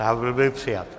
Návrh byl přijat.